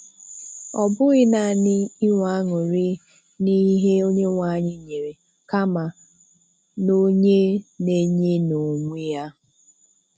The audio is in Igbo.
Ọ bụghị naanị inwe aṅụrị n'ihe Onyenweanyị nyere, kama n'onye na-enye n'onwe Ya.